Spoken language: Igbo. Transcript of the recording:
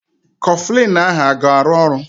Kọflịn ahụ a ga-arụ ọrụ?